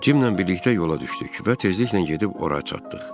Cimlə birlikdə yola düşdük və tezliklə gedib ora çatdıq.